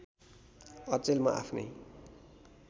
अचेल म आफ्नै